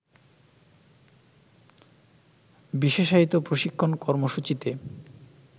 বিশেষায়িত প্রশিক্ষণ কর্মসূচিতে